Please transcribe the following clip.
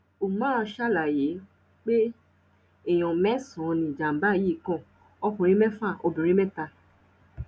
umar ṣàlàyé pé èèyàn mẹsànán ni ìjàmbá yìí kan ọkùnrin mẹfà obìnrin mẹta